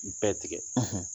bɛɛ tigɛ